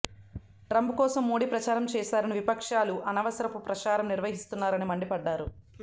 Trump కోసం మోడీ ప్రచారం చేశారని విపక్షాలు అనవసరపు ప్రచారం నిర్వహిస్తున్నారని మండిపడ్డారు